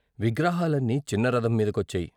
విగ్రహాలన్నీ చిన్న రథం మీద కొచ్చాయి.